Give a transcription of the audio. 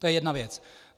To je jedna věc.